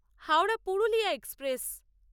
Howrah Purulia express